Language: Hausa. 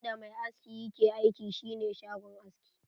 In da mai aski yake aiki shi ne shagon aski.